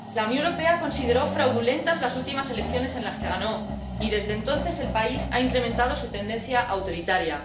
La Unión Europea consideró fraudulentas las últimas elecciones en las que ganó y, desde entonces, el país ha incrementado su tendencia autoritaria.